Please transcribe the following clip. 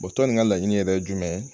tɔn nin ka laɲini yɛrɛ ye jumɛn ye?